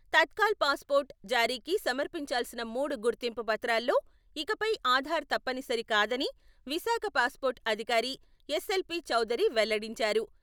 Tatkal pass port జారీకి సమర్పించాల్సిన మూడు గుర్తింపు పత్రాల్లో ఇకపై ఆధార్ తప్పనిసరి కాదని విశాఖ పాస్పోర్టు అధికారి ఎస్.ఎల్.పి.చౌదరి వెల్లడించారు.